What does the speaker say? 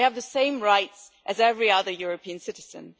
They have the same rights as every other European citizen.